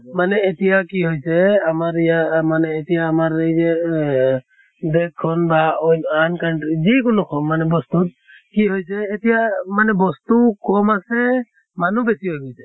মানে এতিয়া কি হৈছে আমাৰ ইয়া মানে এতিয়া আমাৰ এই যে এহ দেশ খন বা অইন আন country যি কোনো হৌক মানে বস্তুত কি হৈছে এতিয়া মানে বস্তু কম আছে মানুহ বেছি হৈ গৈছে।